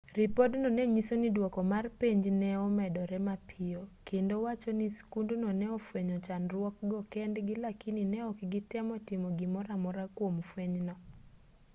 ripod-no nenyiso ni duoko mar penj ne omedore mapiyo kendo wacho ni skundno ne ofwenyo chandruokgo kendgi lakini ne ok gitemo timo gimoramora kuom fwenygo